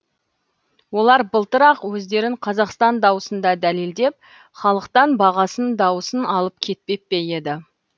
олар былтыр ақ өздерін қазақстан дауысында дәлелдеп халықтан бағасын дауысын алып кетпеп пе еді